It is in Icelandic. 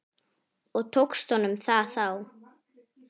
Og tókst honum það þá?